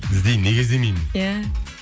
іздеймін неге іздемеймін иә